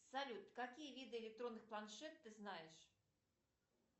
салют какие виды электронных планшет ты знаешь